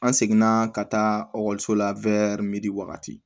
An seginna ka taa ekɔliso la wagati